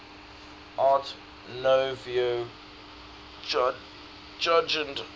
art nouveau jugend